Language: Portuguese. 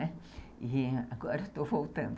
E agora eu estou voltando.